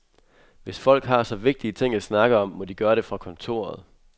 Hvis folk har så vigtige ting at snakke om, må de gøre det fra kontoret.